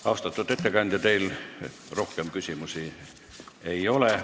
Austatud ettekandja, teile rohkem küsimusi ei ole.